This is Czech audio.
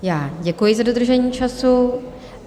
Já děkuji za dodržení času.